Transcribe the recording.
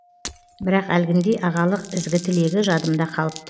бірақ әлгіндей ағалық ізгі тілегі жадымда қалыпты